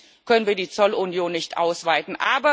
Im Moment können wir die Zollunion nicht ausweiten.